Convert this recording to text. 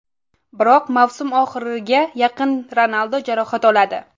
Biroq mavsum oxiriga yaqin Ronaldo jarohat oladi.